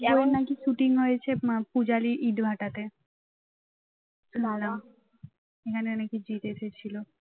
shooting হয়েছে পূজারী ইটভাটাতে নানা এখানে নাকি জিৎ এসেছিল